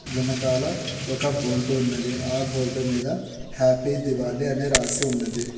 వెనకాల ఒక బోర్డు ఉన్నది ఆ బోర్డు మీద హ్యాపీ దీవాలి అని రాసి ఉన్నది.